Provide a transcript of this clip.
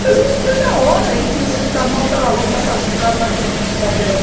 Tudo vendia na hora aí, que você está mal, está lavando